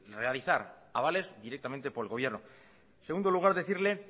realizar avales directamente por el gobierno segundo lugar decirle